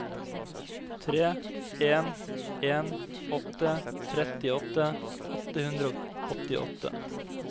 tre en en åtte trettiåtte åtte hundre og åttiåtte